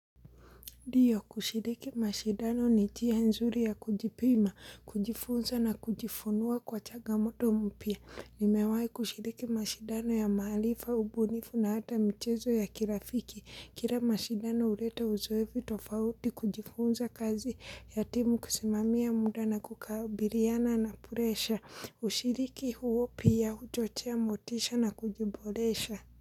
Ndiyo kushiriki mashidano ni njia nzuri ya kujipima, kujifunza na kujifunua kwa changamoto mpya. Nimewai kushiriki mashindano ya maarifa, ubunifu na hata mchezo ya kirafiki. Kila mashindano huleta uzoefu tofauti kujifunza kazi ya timu kusimamia muda na kukabiliana na puresha. Ushiriki huo pia, huchochea motisha na kujiboresha.